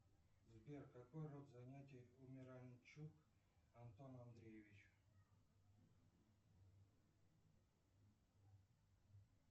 сбер какой род занятий у миранчук антона андреевича